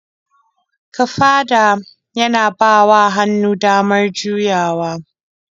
Kafada yana bawa hannu damar juyawa.